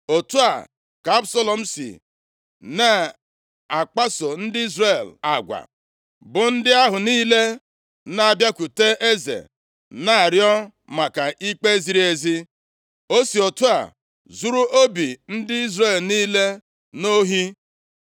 Otu a ka Absalọm sị na-akpaso ndị Izrel agwa, bụ ndị ahụ niile na-abịakwute eze na-arịọ maka ikpe ziri ezi. O si otu a zuru obi ndị Izrel niile nʼohi.